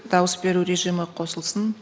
дауыс беру режимі қосылсын